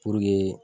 Puruke